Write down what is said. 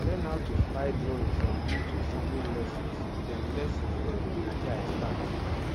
i learn how to fly drone from youtube farming lessons dem lessons dem na there i start